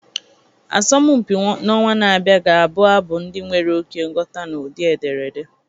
Asọmpi a n'ọnwa na-abịa ga-abụ abụ ndị nwere oke nghọta n'ụdị ederede